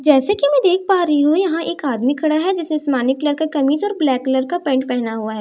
जैसे कि मैं देख पा रही हूं यहां एक आदमी खड़ा है जैसे आसमानी कलर का कमीज और ब्लैक कलर का पैंट पहना हुआ है जैसे कि मैं--